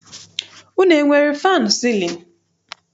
Unu enwere faanụ sịlịnụ?